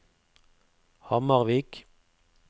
Hamarvik